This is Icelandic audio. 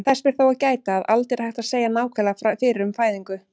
Þess ber þó að gæta, að aldrei er hægt að segja nákvæmlega fyrir um fæðingu.